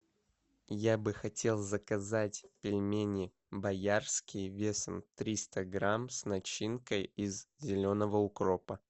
я бы хотел заказать пельмени боярские весом триста грамм с начинкой из зеленого укропа